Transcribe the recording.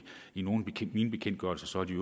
i nogle af mine bekendtgørelser at de